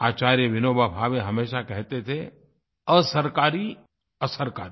आचार्य विनोबा भावे हमेशा कहते थे असरकारी असरकारी